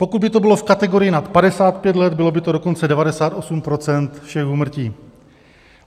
Pokud by to bylo v kategorii nad 55 let, bylo by to dokonce 98 % všech úmrtí.